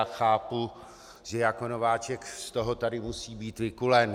Já chápu, že jako nováček z toho tady musí být vykulen.